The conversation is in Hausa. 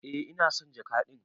Eh ina son jaka din.